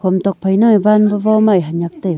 ham tokphai nang ee van ba vo mai hanyak taiga.